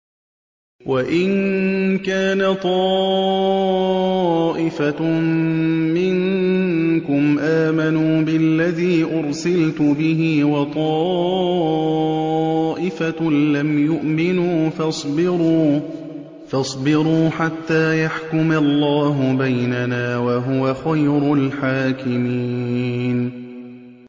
وَإِن كَانَ طَائِفَةٌ مِّنكُمْ آمَنُوا بِالَّذِي أُرْسِلْتُ بِهِ وَطَائِفَةٌ لَّمْ يُؤْمِنُوا فَاصْبِرُوا حَتَّىٰ يَحْكُمَ اللَّهُ بَيْنَنَا ۚ وَهُوَ خَيْرُ الْحَاكِمِينَ